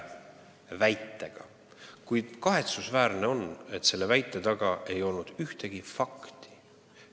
Paraku on kahetsusväärselt nii, et selle väite taga ei ole ühtegi fakti.